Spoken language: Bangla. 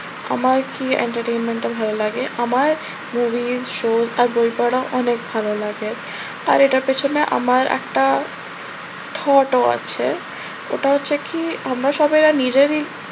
আমার কি আমার entertainment টা ভালো লাগে? আমার movie show travel করা অনেক ভালো লাগে। আর এটার পিছনে আমার একটা thought ও আছে। ওটা হচ্ছে কি আমরা সবাই কি নিজেরই